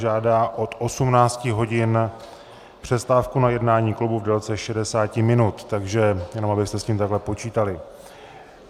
Žádá od 18 hodin přestávku na jednání klubu v délce 60 minut, takže jenom abyste s tím takhle počítali.